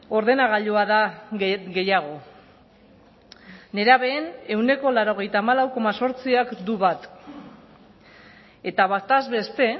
ordenagailua da gehiago nerabeen ehuneko laurogeita hamalau koma zortziak du bat eta bataz beste